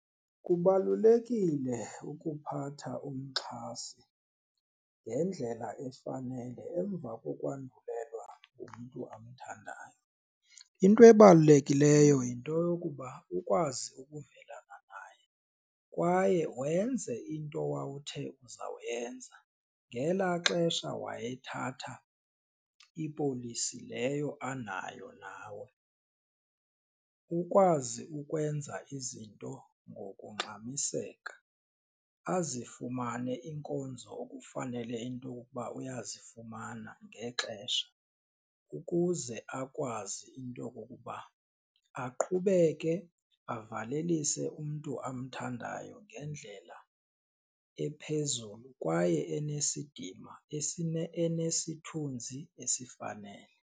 Kubalulekile ukuphatha umxhasi ngendlela efanele emva kokwandulelwa ngumntu amthandayo, into ebalulekileyo yinto yokuba ukwazi ukuvelana naye kwaye wenze into wawuthi uzawuyenza ngelaa xesha wayethatha ipolisi leyo anayo nawe. Ukwazi ukwenza izinto ngokungxamiseka azifumane iinkonzo okufanele into okokuba uyazifumana ngexesha ukuze akwazi into okokuba aqhubeke avalelise umntu amthandayo ngendlela ephezulu kwaye enesidima enesithunzi esifanele.